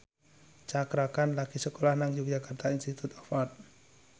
Cakra Khan lagi sekolah nang Yogyakarta Institute of Art